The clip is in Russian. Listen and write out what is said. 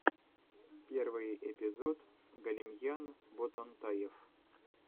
первый эпизод галимьян ботантаев